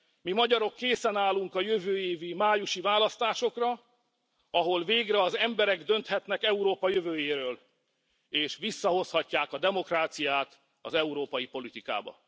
Mi, magyarok készen állunk a jövő évi májusi választásokra, ahol végre az emberek dönthetnek Európa jövőjéről, és visszahozhatják a demokráciát az európai politikába.